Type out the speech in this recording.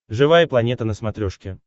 живая планета на смотрешке